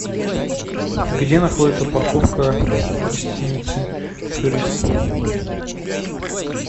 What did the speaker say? где находится парковка гостиницы турист